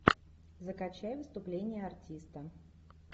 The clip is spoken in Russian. закачай выступление артиста